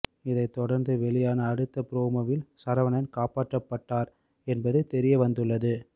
இதைதொடர்ந்து வெளியான அடுத்த ப்ரோமோவில் சரவணன் காப்பாற்றப்பட்டார் என்பது தெரிய வந்துள்ளது